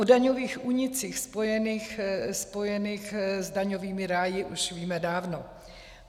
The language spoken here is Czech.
O daňových únicích spojených s daňovými ráji už víme dávno.